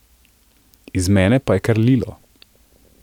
Iz mene pa je kar lilo.